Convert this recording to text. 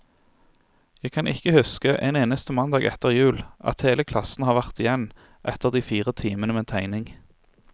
Jeg kan ikke huske en eneste mandag etter jul, at hele klassen har vært igjen etter de fire timene med tegning.